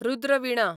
Rudra Veena